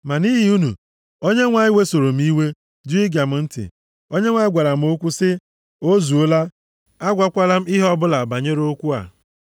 Ma nʼihi unu, Onyenwe anyị wesoro m iwe jụ ige m ntị! Onyenwe anyị gwara m okwu sị m, “O zuola! Agwakwala m ihe ọbụla banyere okwu a.